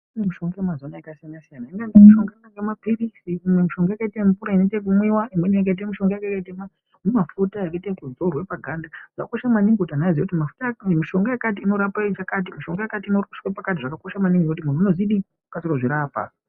Kune mishonga yemazuva ano yakasiyana siyana kune mishonga inoite mapiritsi imwe mishonga yakaite mvura inoita yekumwiwa imweni yakaite mishonga yakaite humafuta yakaite ekudzorwe paganda yakakosha maningi kuti ana azive kuti mafuta aya kana kuti mishonga yakati inorape chakati mishonga yakati inorape pakati xvakakosha maningi nekuti munhu unodzidii unokasire kuzvirapa.